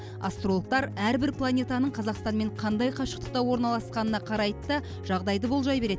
астрологтар әрбір планетаның қазақстанмен қандай қашықтықта орналасқанына қарайды да жағдайды болжай береді